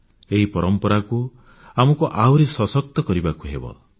ଏହି ପରମ୍ପରାକୁ ଆହୁରି ସଶକ୍ତ କରିବାକୁ ହେବ ଆମକୁ